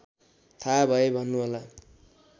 थाहा भए भन्नुहोला